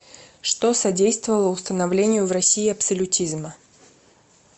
что содействовало установлению в россии абсолютизма